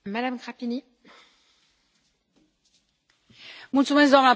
Doamnă președintă, domnule comisar, aș vrea să mă ascultați și dumneavoastră.